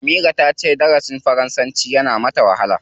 Amira ta ce darasin faransanci yana mata wahala.